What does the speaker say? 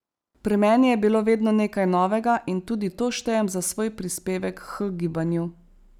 Pri meni je bilo vedno nekaj novega in tudi to štejem za svoj prispevek h gibanju.